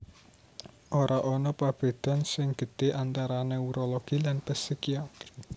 Ora ana prabédan sing gedhé antara neurologi lan psikiatri